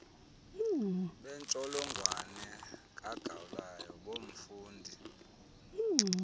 bentsholongwane kagaulayo bomfundi